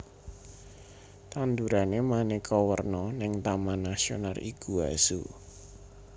Tandurane maneka werna ning Taman Nasional Iguazu